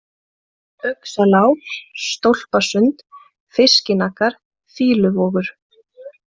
Uxalág, Stólpasund, Fiskinaggar, Fýluvogur